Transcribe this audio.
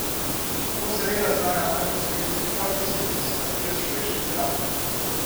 To seveda znajo najbolj izkoristiti prav tisti, ki se mastijo s človeškim strahom.